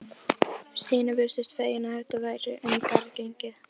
Stína virtist fegin að þetta væri um garð gengið.